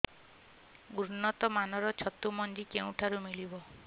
ଉନ୍ନତ ମାନର ଛତୁ ମଞ୍ଜି କେଉଁ ଠାରୁ ମିଳିବ